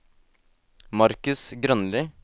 Marcus Grønli